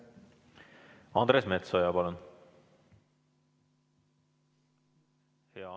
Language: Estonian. Andres Metsoja, palun!